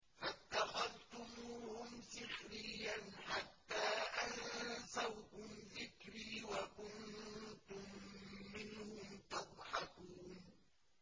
فَاتَّخَذْتُمُوهُمْ سِخْرِيًّا حَتَّىٰ أَنسَوْكُمْ ذِكْرِي وَكُنتُم مِّنْهُمْ تَضْحَكُونَ